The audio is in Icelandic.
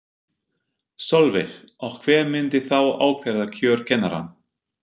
Sólveig: Og hver myndi þá ákvarða kjör kennara?